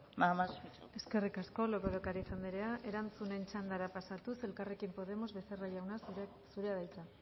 nada más muchas gracias eskerrik asko lopez de ocariz andrea erantzunen txandara pasatuz elkarrekin podemos becerra jauna zurea da hitza